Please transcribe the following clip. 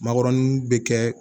Makɔrɔni bɛ kɛ